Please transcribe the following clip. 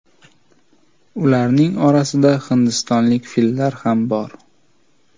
Ularning orasida hindistonlik fillar ham bor.